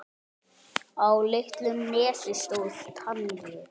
Á litlu nesi stóð Tangi.